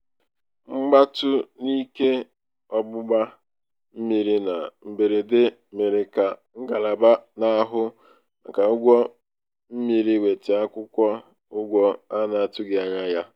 mgbatu n'ike ọgbụgba mmiri na mberede mere ka ngalaba na-ahụ maka ụgwọ mmiri weta akwụkwọ ụgwọ a na-atụghị anya ya. "